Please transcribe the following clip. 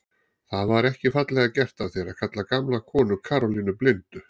Það var ekki fallega gert af þér að kalla gamla konu Karólínu blindu